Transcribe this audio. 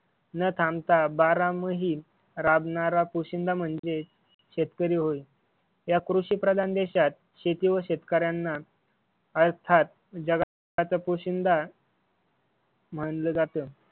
न थांबता बारा माही राबणारा पोशिंदा म्हणजेच शेतकरी होय. या कृषि प्रधान देशात शेती व शेतकऱ्याना अर्थात जगाचा पोशिंद म्हणल जात.